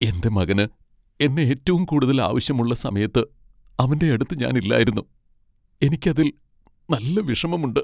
എന്റെ മകന് എന്നെ ഏറ്റവും കൂടുതൽ ആവശ്യമുള്ള സമയത്ത് അവന്റെയടുത്ത് ഞാൻ ഇല്ലായിരുന്നു, എനിക്ക് അതിൽ നല്ല വിഷമമുണ്ട്.